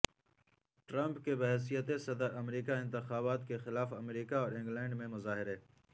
Trump کے بحیثیت صدر امریکہ انتخابات کے خلاف امریکہ اور انگلینڈ میں مظاہرے